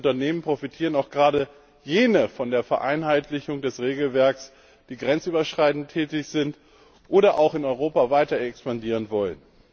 Unter den Unternehmen profitieren auch gerade jene von der Vereinheitlichung des Regelwerks, die grenzüberschreitend tätig sind oder auch in Europa weiter expandieren wollen.